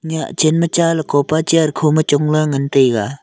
nyah chen ma cha lakopa chair khoma chongla ngantaiga.